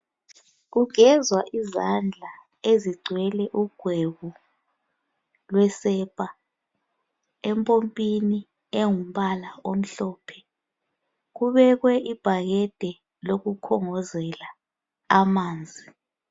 Kugezwa izandla ezigcwele ugwebu lwesepa empopini engumbala omhlophe kubekwe ibhakede lokukhongozela amanzi.